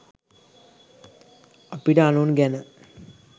අපිට අනුන් ගැන